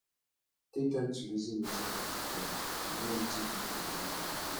take time reason wetin happen before to know wetin you no go do again